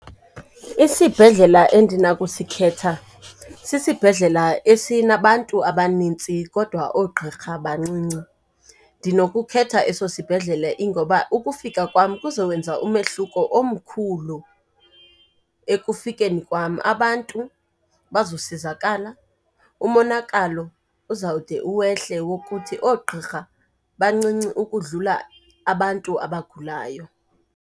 Isibhedlela endinakusikhetha sisibhedlela esinabantu abaninzi kodwa oogqirha bancinci. Ndinokukhetha eso sibhedlele ingoba ukufika kwam kuzowenza umehluko omkhulu. Ekufikeni kwam abantu bazosizakala, umonakalo uzawude uwehle ukuthi oogqirha bancinci ukudlula abantu abagulayo.